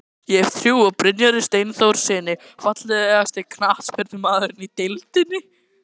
Hef trú á Brynjari Steinþórssyni Fallegasti knattspyrnumaðurinn í deildinni?